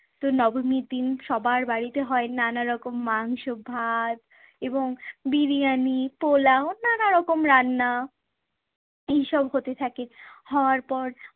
তো নবমীর দিন সবার বাড়িতে হয় নানা রকম মাংস, ভাত এবং বিরিয়ানি, পোলাও নানা রকম রান্না। এইসব হতে থাকে। হওয়ার পর